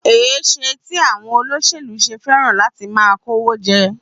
Èéṣe tí àwọn olóṣèlú ṣe fẹ́ràn láti máa kówó jẹ?